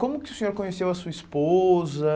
Como que o senhor conheceu a sua esposa?